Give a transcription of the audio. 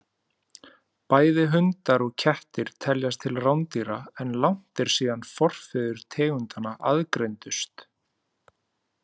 Bæði hundar og kettir teljast til rándýra, en langt er síðan forfeður tegundanna aðgreindust.